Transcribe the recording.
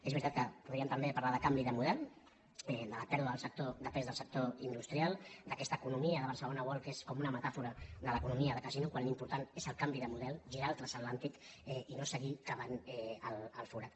és veritat que podríem també parlar de canvi de model de la pèrdua de pes del sector industrial d’aquesta economia de barcelona world que es com una metàfora de l’economia de ca·sino quan l’important és el canvi de model girar el transatlàntic i no seguir cavant el forat